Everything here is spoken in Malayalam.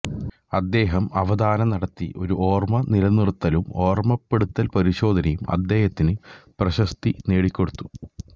അദ്ദേഹം അവധന നടത്തി ഒരു ഓർമ്മ നിലനിർത്തലും ഓർമ്മപ്പെടുത്തൽ പരിശോധനയും അദ്ദേഹത്തിന് പ്രശസ്തി നേടിക്കൊടുത്തു